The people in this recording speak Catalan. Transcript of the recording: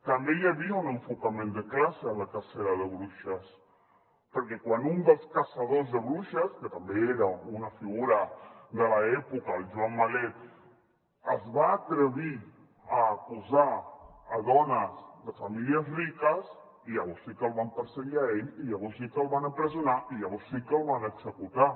també hi havia un enfocament de classe en la cacera de bruixes perquè quan un dels caçadors de bruixes que també era una figura de l’època el joan malet es va atrevir a acusar a dones de famílies riques llavors sí que el van perseguir a ell i llavors sí que el van empresonar i llavors sí que el van executar